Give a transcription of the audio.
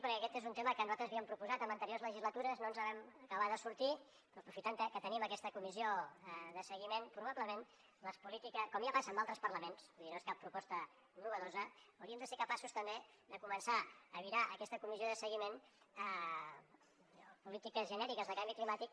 perquè aquest és un tema que nosaltres havíem proposat en anteriors legislatures i no ens en vam acabar de sortir però aprofitant que tenim aquesta comissió de seguiment probablement les polítiques com ja passa en altres parlaments vull dir no és cap proposta innovadora hauríem de ser capaços també de començar a virar aquesta comissió de seguiment a polítiques genèriques de canvi climàtic